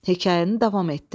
Hekayəni davam etdir.